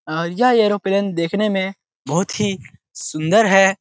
और यह एरोप्लेन देखने में बहुत ही सुंदर है।